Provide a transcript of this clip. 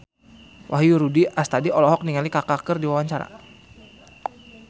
Wahyu Rudi Astadi olohok ningali Kaka keur diwawancara